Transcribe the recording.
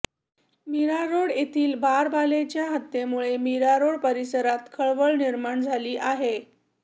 मीरारोड येथील बारबालेच्या हत्येमुळे मीरारोड परिसरात खळबळ निर्माण झाली आहे